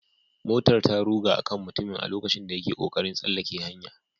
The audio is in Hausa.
Motar ta ruga a kan mutumin a lokacin da yake kokarin tsallaka hanya